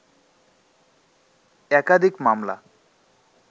একাধিক মামলা